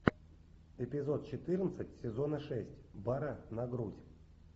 эпизод четырнадцать сезона шесть бара на грудь